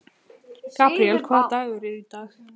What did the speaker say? Gabríel, hvaða dagur er í dag?